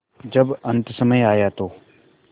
जब अन्तसमय आया तो